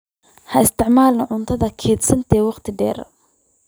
Ha isticmaalin cunto kaydsantay wakhti dheer.